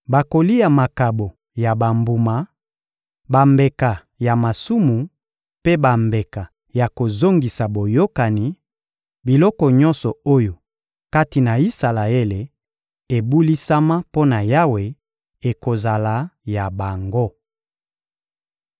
Bakolia makabo ya bambuma, bambeka ya masumu mpe bambeka ya kozongisa boyokani; biloko nyonso oyo, kati na Isalaele, ebulisama mpo na Yawe ekozala ya bango.